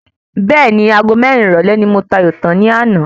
Bẹ́ẹ̀ni Ago mérin ìrọ̀lé ni mo ta ayò tán ní àná